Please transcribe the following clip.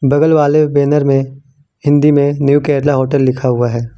बगल वाले बैनर में हिंदी में न्यू केरला होटल लिखा हुआ है।